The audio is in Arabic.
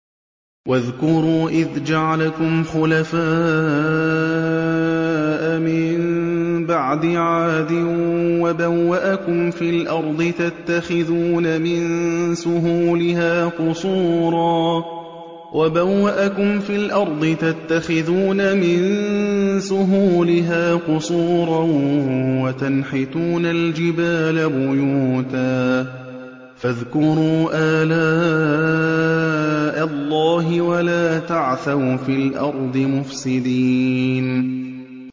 وَاذْكُرُوا إِذْ جَعَلَكُمْ خُلَفَاءَ مِن بَعْدِ عَادٍ وَبَوَّأَكُمْ فِي الْأَرْضِ تَتَّخِذُونَ مِن سُهُولِهَا قُصُورًا وَتَنْحِتُونَ الْجِبَالَ بُيُوتًا ۖ فَاذْكُرُوا آلَاءَ اللَّهِ وَلَا تَعْثَوْا فِي الْأَرْضِ مُفْسِدِينَ